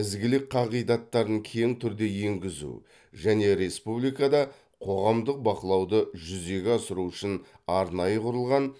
ізгілік қағидаттарын кең түрде енгізу және республикада қоғамдық бақылауды жүзеге асыру үшін арнайы құрылған